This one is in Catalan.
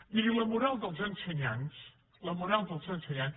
miri la moral dels ensenyants la moral dels ensenyants